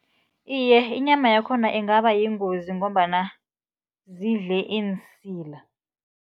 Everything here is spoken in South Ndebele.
Iye, inyama yakhona ingaba yingozi ngombana zidle iinsila.